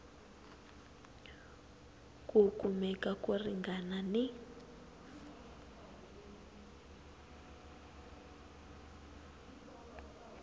ku kumeka ko ringana ni